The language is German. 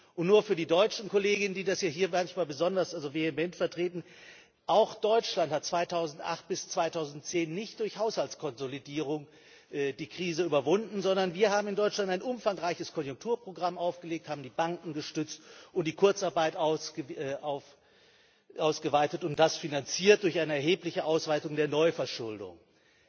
Und nur für die deutschen Kolleginnen und Kollegen, die das hier manchmal besonders vehement vertreten Auch Deutschland hat 2008 bis 2010 nicht durch Haushaltskonsolidierung die Krise überwunden, sondern wir haben in Deutschland ein umfangreiches Konjunkturprogramm aufgelegt, haben die Banken gestützt, die Kurzarbeit ausgeweitet, und wir haben das durch eine erhebliche Ausweitung der Neuverschuldung finanziert.